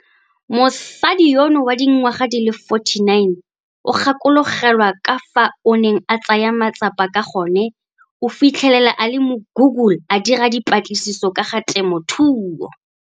Mosadi yono wa dingwaga di le 49 o gakologelwa ka fao a neng a tsaya matsapa ka gone o fitlhele a le mo Google a dira dipatlisiso ka ga temothuo.